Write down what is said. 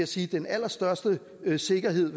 sige den allerstørste sikkerhed